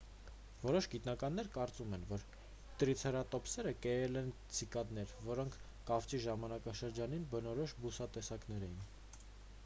որոշ գիտնականներ կարծում են որ տրիցերատոպսերը կերել են ցիկադներ որոնք կավճի ժամանակաշրջանին բնորոշ բուսատեսակներ էին